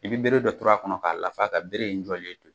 I bɛ bere dɔ turu a kɔnɔ k'a lafa ka bere in jɔlen to.